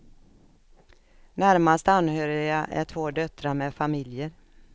Närmast anhöriga är två döttrar med familjer.